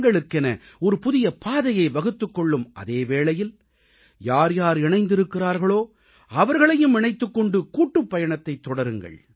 தங்களுக்கென ஒரு புதிய பாதையை வகுத்துக் கொள்ளும் அதே வேளையில் யார்யார் இணைந்திருக்கிறார்களோ அவர்களையும் இணைத்துக் கொண்டு கூட்டுப்பயணத்தைத் தொடருங்கள்